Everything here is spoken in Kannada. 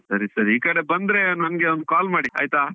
ಸರಿ ಸರಿ ಈಕಡೆ ಬಂದ್ರೆ ನಮ್ಗೆ ಒಂದು call ಮಾಡಿ ಆಯ್ತಾ?